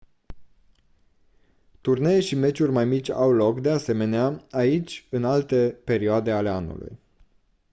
turnee și meciuri mai mici au loc de asemenea aici în alte perioade ale anului